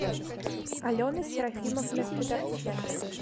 алена серафимовна федорченко